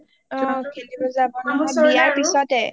অ খেলিবলে যাব নহয় বিয়াৰ পিছতে